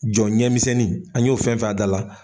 Jɔ ɲɛmisɛnnin an y'o fɛn fɛn y'a da la